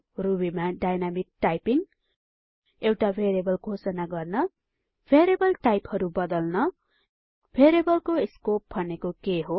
ruby मा dynamic typing एउटा variable घोषणा गर्न भेरिएबल टाइपहरु बदल्न भेरिएबलको स्कोप भनेको के हो